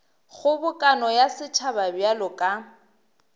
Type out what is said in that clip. kgobokano ya setšhaba bjalo ka